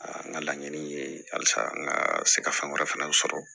n ka laɲini ye halisa n ka se ka fɛn wɛrɛ fana sɔrɔ